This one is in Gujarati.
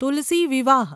તુલસી વિવાહ